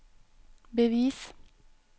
bevis